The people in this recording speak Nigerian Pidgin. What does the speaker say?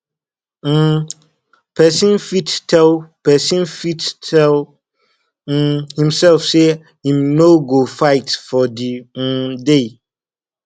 um persin fit tell persin fit tell um imself say im no go fight for di um day